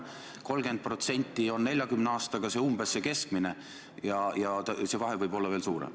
Umbes 30% on 40 aasta kohta see keskmine ja see vahe võib olla veel suurem.